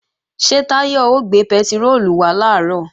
Ṣé Táyọ̀ ó gbé pẹtiróòlù wá làárọ̀?